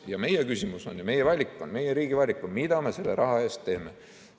Ja meie küsimus on, meie valik on, meie riigi valik on, mida me selle raha eest teeme.